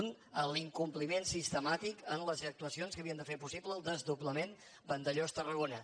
un l’incompliment sistemàtic en les actuacions que havien de fer possible el desdoblament vandellòs tarragona